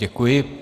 Děkuji.